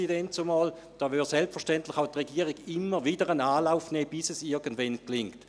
Diesbezüglich würde selbstverständlich auch die Regierung immer wieder einen Anlauf nehmen, bis es irgendwann gelingt.